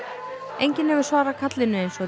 enginn hefur svarað kallinu eins og